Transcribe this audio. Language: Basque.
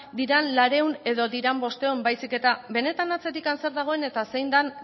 diren laurehun edo diren bostehun baizik eta benetan atzetik zer dagoen eta zein den